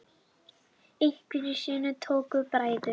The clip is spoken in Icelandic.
Einhverju sinni tóku bræður